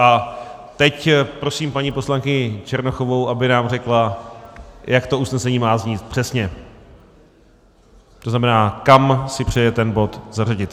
A teď prosím paní poslankyni Černochovou, aby nám řekla, jak to usnesení má znít přesně, to znamená, kam si přeje ten bod zařadit.